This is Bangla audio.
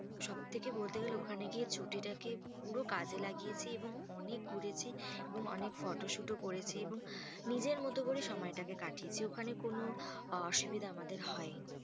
সব থেকে বলতে গেলে ওখানে গিয়ে ছুটিটাকে পুরো কাজে লাগিয়েছি এবং অনেক ঘুরেছি এবং অনেক photoshoot ও করেছি। এবং নিজের মতো করে সময়টাকে কাটিয়েছি। ওখানে কোনো আহ অসুবিধা আমাদের হয়নি।